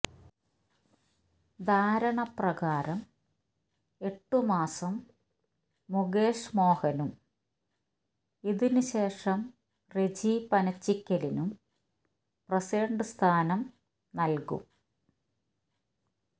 ധാരണപ്രകാരം എട്ടുമാസം മുകേഷ് മോഹനും ഇതിനുശേഷം റെജി പനച്ചിക്കലിനും പ്രസിഡന്റ് സ്ഥാനം നല്കും